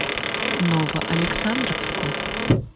новоалександровску